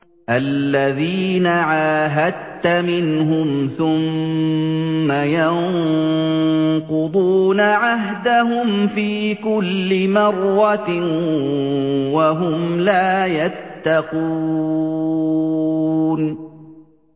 الَّذِينَ عَاهَدتَّ مِنْهُمْ ثُمَّ يَنقُضُونَ عَهْدَهُمْ فِي كُلِّ مَرَّةٍ وَهُمْ لَا يَتَّقُونَ